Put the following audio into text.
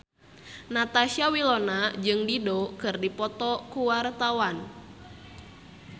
Natasha Wilona jeung Dido keur dipoto ku wartawan